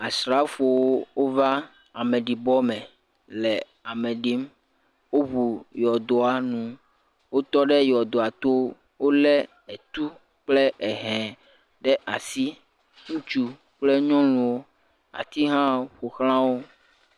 Asrafowo wova ameɖibɔ me le ame ɖim. Woŋu yɔdoa nu. Wotɔ ɖe yɔdoa to. Wo le etu kple ehɛ ɖe asi. Ŋutsu kple nyɔuwo. Ati hã ƒoxla wo.